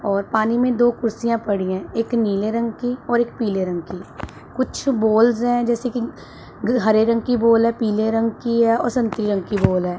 और पानी में दो कुर्सियां पड़ी हैं एक नीले रंग की और एक पीले रंग की कुछ बोल्स हैं जैसे कि ग हरे रंग की बोल है पीले रंग की है और संतरी रंग कि बोल है।